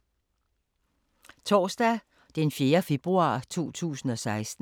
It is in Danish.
Torsdag d. 4. februar 2016